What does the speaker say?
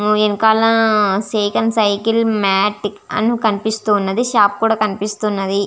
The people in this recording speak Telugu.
ఆ వెనకాల సేకన్ సైకిల్ మేట్ అని కనిపిస్తున్నది షాప్ కూడా కనిపిస్తున్నది.